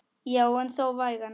Já en þó vægan.